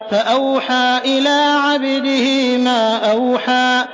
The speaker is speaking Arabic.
فَأَوْحَىٰ إِلَىٰ عَبْدِهِ مَا أَوْحَىٰ